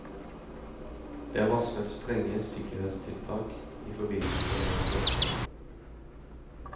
Det er varslet strenge sikkerhetstiltak i forbindelse med møtet.